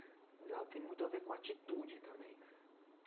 Mas ela tem muito a ver com atitude também.